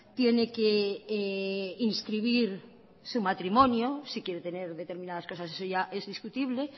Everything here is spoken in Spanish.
tiene que inscribir su matrimonio si quiere tener determinadas cosas eso ya es discutible